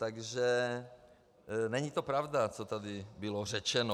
Takže není to pravda, co tady bylo řečeno.